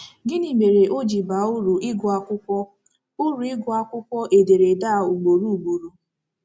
Gịnị mere o ji baa uru ịgụ akwụkwọ uru ịgụ akwụkwọ ederede a ugboro ugboro?